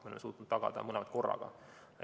Me oleme suutnud tagada mõlemat korraga.